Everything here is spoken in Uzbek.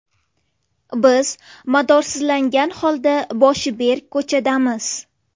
Biz madorsizlangan holda boshi berk ko‘chadamiz.